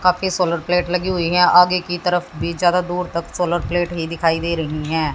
काफी solar plate लगी हुई है आगे की तरफ भी चारों दुर तक सोलर प्लेट ही दिखाई दे रही हैं।